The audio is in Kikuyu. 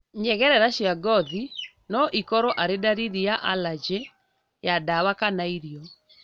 Nyegerera cia ngothi noikorwo arĩ ndariri ya arajĩ ya ndawa kana irio